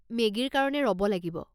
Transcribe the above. মেগীৰ কাৰণে ৰ'ব লাগিব।